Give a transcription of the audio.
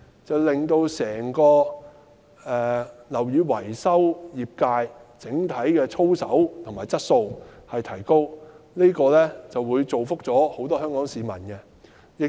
這樣便能令整個樓宇維修業界的整體操守和素質提高，造福香港市民。